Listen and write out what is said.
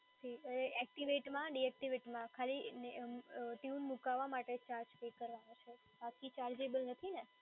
એક્ટિવેટમાં ડીએક્ટિવેટમાં ખાલી ટયુન મૂકવા માટે ચાર્જ પે કરવાનો છે, બાકી ચાર્જેબલ નથી ને?